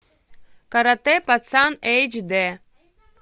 каратэ пацан эйч дэ